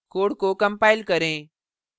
code को compile करें